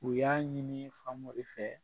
U y'a ɲini Famori fɛ